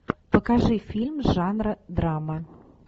покажи фильм жанра драма